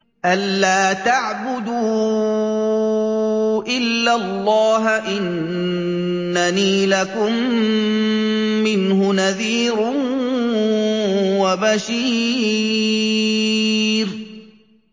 أَلَّا تَعْبُدُوا إِلَّا اللَّهَ ۚ إِنَّنِي لَكُم مِّنْهُ نَذِيرٌ وَبَشِيرٌ